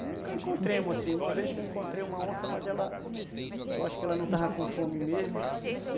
Nunca encontremos, assim, uma vez que eu encontrei uma onça, mas ela... eu acho que ela não estava com fome mesmo.